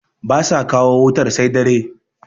ba sa kawo wutar sai dare